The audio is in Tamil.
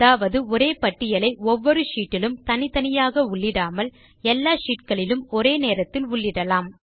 அதாவது ஒரே பட்டியலை ஒவ்வொரு ஷீட் இலும் தனித்தனியாக உள்ளிடாமல் எல்லா ஷீட் களிலும் ஒரே நேரத்தில் உள்ளிடலாம்